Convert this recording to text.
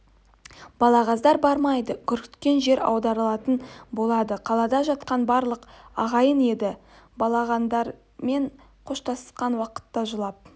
балағаздар бармайды үркітке жер аударылатын болды қалада жатқан барлық ағайын енді балағандармен қоштасқан уақытта жылап